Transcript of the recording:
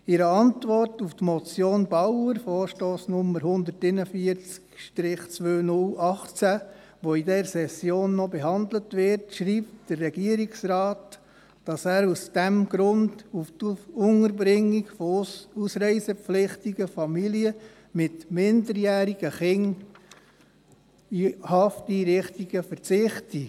In einer Antwort auf die Motion Bauer die in dieser Session noch behandelt wird, schreibt der Regierungsrat, dass er aus diesem Grund auf die Unterbringung von ausreisepflichtigen Familien mit minderjährigen Kindern in Hafteinrichtungen verzichte.